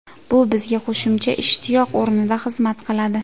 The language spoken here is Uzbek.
Bu bizga qo‘shimcha ishtiyoq o‘rnida xizmat qiladi.